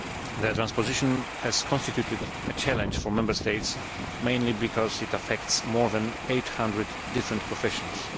The transposition has constituted a challenge for Member States mainly because it affects more than 800 different professions.